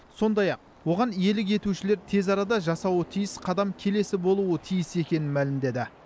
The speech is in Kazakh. сондай ақ оған иелік етушілер тез арада жасауы тиіс қадам келесі болуы тиіс екенін мәлімдеді